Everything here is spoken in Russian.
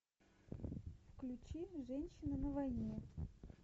включи женщина на войне